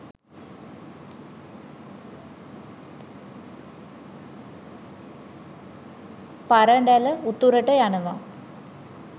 පරඬැල උතුරට යනවා.